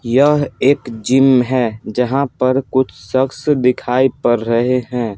यह एक जिम है जहां पर कुछ शख्स दिखाई पड़ रहे हैं।